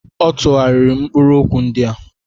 Ọ tụgharịrị mkpụrụ okwu ndị a.